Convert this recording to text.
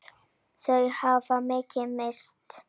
Þau hafa mikið misst.